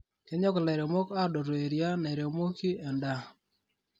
Kenyok lairemok adotu eria neiremoki endaa .